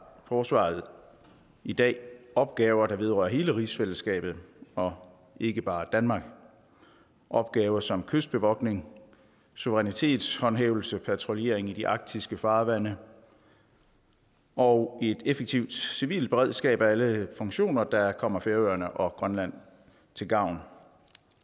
forsvaret i dag opgaver der vedrører hele rigsfællesskabet og ikke bare danmark opgaver som kystbevogtning suverænitetshåndhævelse patruljering i de arktiske farvande og et effektivt civilt beredskab er alle funktioner der kommer færøerne og grønland til gavn